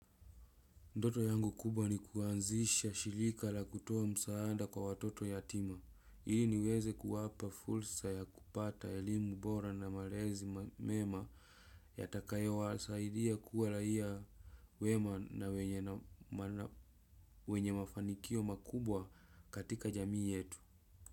Ndoto yangu kubwa ni kuanzisha shilika la kutoa msaanda kwa watoto yatima. Ili niweze kuwapa fulsa ya kupata elimu bora na malezi mema. Yatakayo wasaidia kuwa raia wema wenye mafanikio makubwa katika jamii yetu.